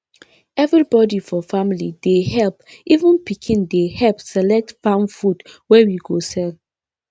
everybody for family dey help even pikin dey help select farm food wey we go sell